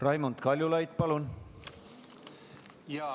Raimond Kaljulaid, palun!